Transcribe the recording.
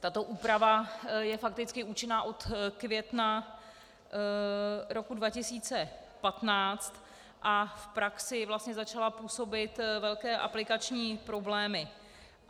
Tato úprava je fakticky účinná od května roku 2015 a v praxi vlastně začala působit velké aplikační problémy.